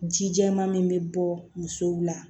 Ji jɛman min bɛ bɔ musow la